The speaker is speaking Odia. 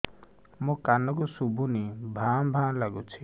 ମୋ କାନକୁ ଶୁଭୁନି ଭା ଭା ଲାଗୁଚି